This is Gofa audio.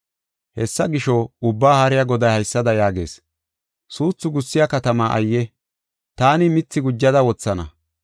Hessa gisho, Ubbaa Haariya Goday haysada yaagees: “Suuthu gussiya katamaa ayye! Taani mithi gujada wothana.